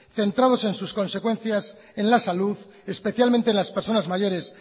centrados en su consecuencias en la salud especialmente en las personas mayores